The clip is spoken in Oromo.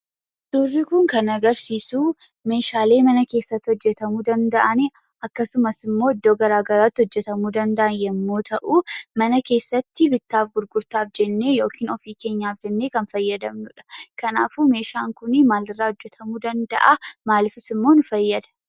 Suurri kun kan agarsiisuu meeshaalee mana keessatti hojjetamuu danda'ani akkasumas immoo iddoo garaagaraatti hojjetamuu danda'an yemmuu ta'uu mana keessatti bittaa fi gurgurtaaf jennee yookiin ofii keenyaaf jennee kan fayyadamnudha. Kanaafuu meeshaan kun maalirraa hojjetamuu danda'aa? maaliifis immoo nu fayyada?